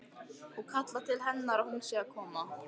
Og kallar til hennar að hún sé að koma.